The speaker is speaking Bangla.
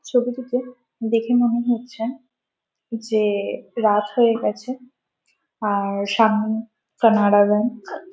ছবিটিতে দেখে মনে হচ্ছে যে-এ রাত হয়ে গেছে আর সামনে কানাডা ব্যাঙ্ক ।